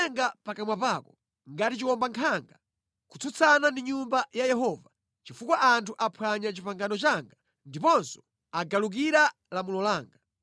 “Ika lipenga pakamwa pako. Ngati chiwombankhanga, kutsutsana ndi nyumba ya Yehova chifukwa anthu aphwanya pangano langa ndiponso agalukira lamulo langa.